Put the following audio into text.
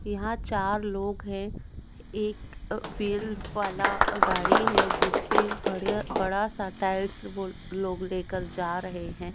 यहाँ चार लोग है एक अ व्हील वाला अ गाड़ी है जिसपे बढीया बडा सा टाइल्स वो लो-लोग लेके जा रहे है।